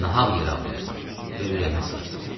Nahaq yer ağlayırsan və ürəyini sıxırsan.